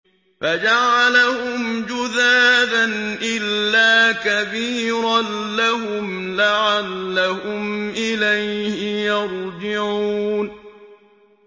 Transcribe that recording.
فَجَعَلَهُمْ جُذَاذًا إِلَّا كَبِيرًا لَّهُمْ لَعَلَّهُمْ إِلَيْهِ يَرْجِعُونَ